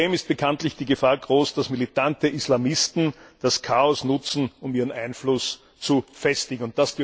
Zudem ist bekanntlich die Gefahr groß, dass militante Islamisten das Chaos nutzen, um ihren Einfluss zu festigen.